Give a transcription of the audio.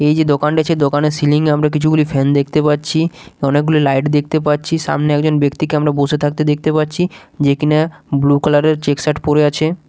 এই যে দোকান দেখছি দোকানের সিলিং -এ আমরা কিছু গুলি ফ্যান দেখতে পাচ্ছি অনেকগুলি লাইট দেখতে পাচ্ছি সামনে একজন ব্যক্তিকে আমরা বসে থাকতে দেখতে পারছি যেকিনা ব্লু কালার -এর চেক শার্ট পরে আছে।